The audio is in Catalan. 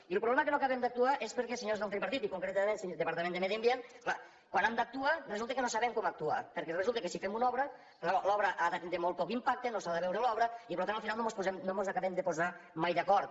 i el problema que no acabem d’actuar és perquè els senyors del tripartit i concretament departament de medi ambient clar quan han d’actuar resulta que no saben com actuar perquè resulta que si fem una obra l’obra ha de tindre molt poc impacte no s’ha de veure l’obra i per tant al final no mos acabem de posar mai d’acord